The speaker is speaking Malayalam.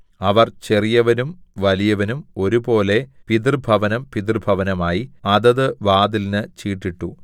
അവർ ചെറിയവനും വലിയവനും ഒരുപോലെ പിതൃഭവനം പിതൃഭവനമായി അതത് വാതിലിന് ചീട്ടിട്ടു